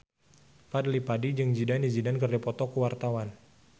Fadly Padi jeung Zidane Zidane keur dipoto ku wartawan